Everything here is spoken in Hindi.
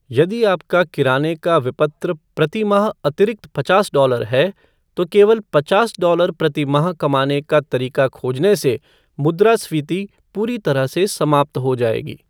यदि आपका किराने का विपत्र प्रति माह अतिरिक्त पचास डॉलर है, तो केवल पचास डॉलर प्रति माह कमाने का तरीका खोजने से मुद्रास्फीति पूरी तरह से समाप्त हो जाएगी।